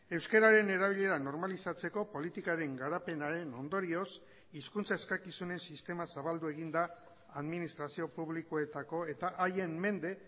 euskararen erabilera normalizatzeko politikaren garapenaren ondorioz hizkuntza eskakizunen sistema zabaldu egin da administrazio publikoetako eta haien mende